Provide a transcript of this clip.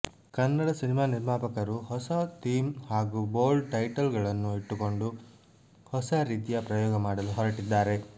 Kannada cinema ನಿರ್ಮಾಪಕರು ಹೊಸ theme ಹಾಗೂ ಬೋಲ್ಡ್ ಟೈಟಲ್ ಗಳನ್ನು ಇಟ್ಟುಕೊಂಡು ಹೊಸ ರೀತಿಯ ಪ್ರಯೋಗ ಮಾಡಲು ಹೊರಟಿದ್ದಾರೆ